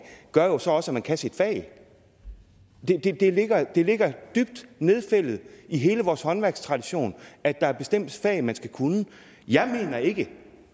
gør jo så også at man kan sit fag det ligger det ligger dybt nedfældet i hele vores håndværkstradition at der er bestemte fag man skal kunne jeg mener ikke